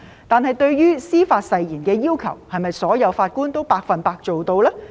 但是，對於司法誓言的要求，是否所有法官都百分之一百做到呢？